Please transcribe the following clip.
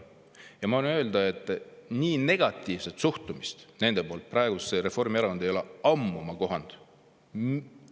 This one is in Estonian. Ja ma võin öelda, et nii negatiivset suhtumist nende poolt praegusesse Reformierakonda ei ole ma ammu kohanud.